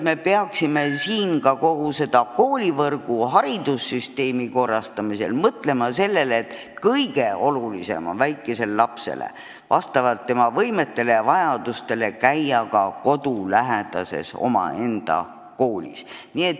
Ehk peaksime kogu koolivõrgu ja üldse haridussüsteemi korrastamisel mõtlema sellele, et kõige olulisem väikesele lapsele on käia kodulähedases omaenda koolis.